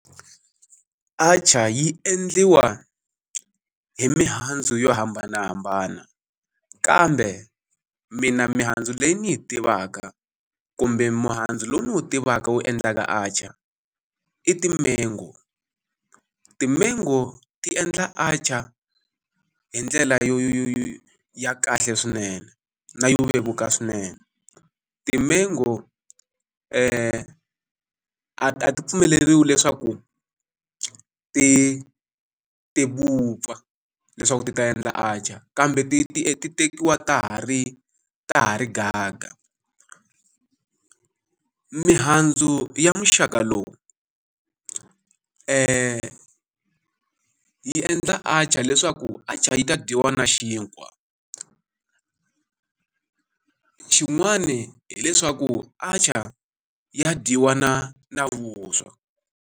Atchaar yi endliwa hi mihandzu yo hambanahambana, kambe mina mihandzu leyi ni yi tivaka kumbe muhandzu lowu ni wu tivaka wu endlaka atchaar i timengo. Timengo ti endla atchaar hi ndlela yo yo yo yo ya kahle swinene, na yo vevuka swinene. Timengo a a ti pfumeleriwi leswaku ti ti vupfa leswaku ti ta endla atchaar, kambe ti ti ti tekiwa ta ha ri ta ha ri gaga. mihandzu ya muxaka lowu yi endla atchaar leswaku atchaar yi ta dyiwa na xinkwa. Xin'wani hileswaku atchaar ya dyiwa na na vuswa.